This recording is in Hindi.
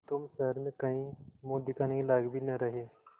तुम शहर में कहीं मुँह दिखाने के लायक भी न रहे